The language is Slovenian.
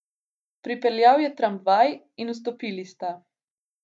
Pripeljal je tramvaj in vstopili sta.